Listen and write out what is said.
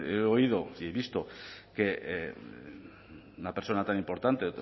he oído y he visto que una persona tan importante